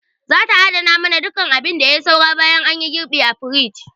Za ta adana mana duk abin da yai saura bayan anyi girɓi a firij.